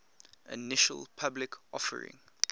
initial public offering